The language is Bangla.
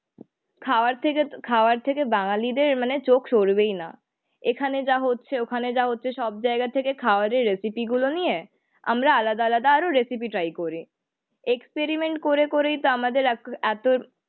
খাওয়ার থেকে খাওয়ার থেকে বাঙালিদের মানে চোখ সরবেই না। এখানে যা হচ্ছে ওখানে যা হচ্ছে সব জায়গা থেকে খাওয়ারের রেসিপি গুলো নিয়ে আমরা আলাদা আলাদা আরো রেসিপি ট্রাই করি, এক্সপেরিমেন্ট করে করেই তো আমাদের একর এতো